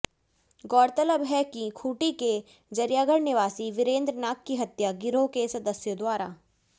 गौरतलब है कि खूंटी के जरियागढ़ निवासी विरेंद्र नाग की हत्या गिरोह के सदस्यों द्वारा